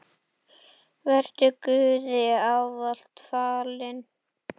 Vertu Guði ávallt falin.